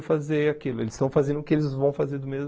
fazer aquilo. Eles estão fazendo o que eles vão fazer do mesmo